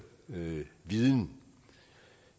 viden